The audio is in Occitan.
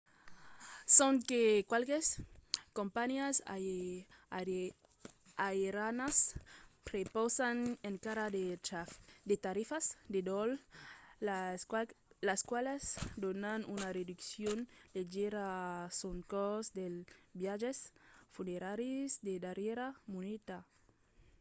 sonque qualques companhiás aerianas prepausan encara de tarifas de dòl las qualas donan una reduccion leugièra sul còst dels viatges funeraris de darrièra minuta